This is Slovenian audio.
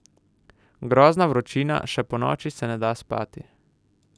Grozna vročina, še ponoči se ne da spati.